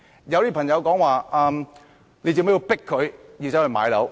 有些人問，為何要迫市民買樓？